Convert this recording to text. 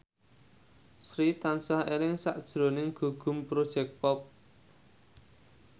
Sri tansah eling sakjroning Gugum Project Pop